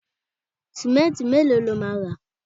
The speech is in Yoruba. simẹnti melo lo ma ra